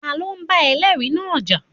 Ta ló bá ẹlẹ́ẹ̀rí náà jà?